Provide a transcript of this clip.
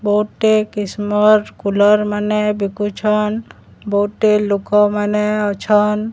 ବହୁଟେ କିସମର କୁଲର ମାନେ ବିକୁଛନ ବହୁଟେ ଲୋକମାନେ ଅଛନ